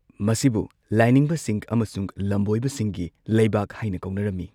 ꯃꯁꯤꯕꯨ ꯂꯥꯏꯅꯤꯡꯕꯁꯤꯡ ꯑꯃꯁꯨꯡ ꯂꯝꯕꯣꯏꯕꯁꯤꯡꯒꯤ ꯂꯩꯕꯥꯛ ꯍꯥꯏꯅ ꯀꯧꯅꯔꯝꯃꯤ꯫